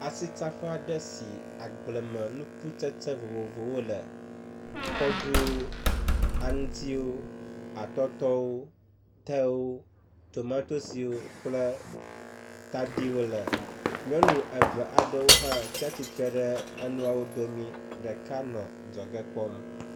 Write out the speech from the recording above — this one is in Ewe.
Asitsaƒe aɖe si agblemenukutsetse vovovowo le. Kɔɖu, aŋtsiwo, atɔtɔwo, tewo, tomatosiwo kple tadiwo le. Nyɔnu eve aɖewo hã tsi atsitre ɖe enuawo dome ɖeka nɔ adzɔge kpɔm.